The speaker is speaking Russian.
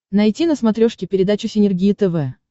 найти на смотрешке передачу синергия тв